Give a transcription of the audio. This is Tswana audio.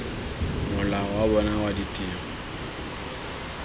mola wa bona wa ditiro